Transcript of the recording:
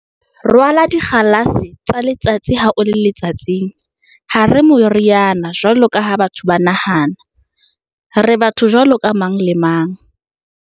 Rwala dikgalase tsa letsatsi ha o le letsatsing."Ha re moriana jwalo ka ha batho ba nahana. Re batho jwaloka mang le mang."